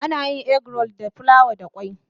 Egg roll is made with flour and egg.